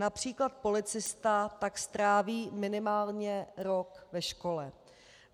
Například policista tak stráví minimálně rok ve škole.